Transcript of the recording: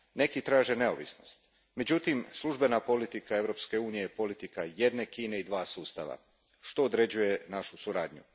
Neki traže neovisnost, međutim, službena politika Europske unije je politika jedne Kine i dva sustava, što određuje našu suradnju.